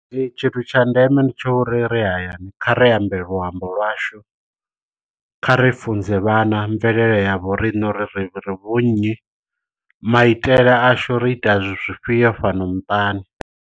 Ee tshithu tsha ndeme ndi tsha uri ri hayani kha ri ambe luambo lwashu kha ri funze vhana mvelele ya vho riṋe uri ri ri vhu nnyi maitele ashu ri ita zwifhio fhano muṱani.